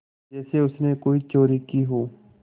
जैसे उसने कोई चोरी की हो